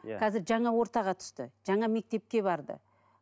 иә қазір жаңа ортаға түсті жаңа мектепке барды